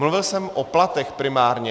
Mluvil jsem o platech primárně.